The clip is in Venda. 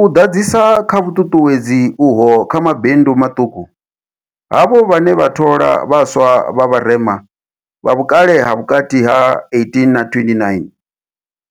U ḓadzisa kha vhuṱuṱuwedzi uho kha mabindu maṱuku, havho vhane vha thola vha swa vha vharema, vha vhukale ha vhukati ha 18 na 29,